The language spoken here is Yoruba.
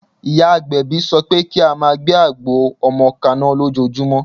Ìyá agbẹ̀bí sọ pé kí á máa gbé àgbo ọmọ kaná lójoojúmọ́.